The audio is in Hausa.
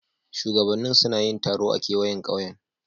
Shugabannin suna yin taro a kewayen kauyen.